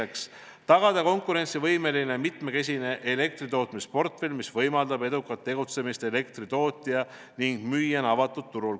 Teiseks, tagada konkurentsivõimeline mitmekesine elektritootmisportfell, mis võimaldab edukat tegutsemist elektri tootja ning müüjana avatud turul.